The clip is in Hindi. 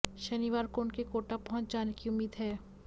शनिवार को उनके कोटा पहुंच जाने की उम्मीद है